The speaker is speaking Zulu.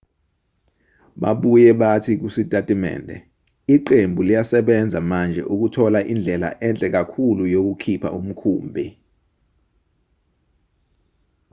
babuye bathi kusitatimende iqembu liyasebenza manje ukuthola indlela enhle kakhulu yokukhipha umkhumbi